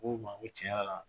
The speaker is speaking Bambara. Ko n ma n ko tiɲɛ yɛrɛ la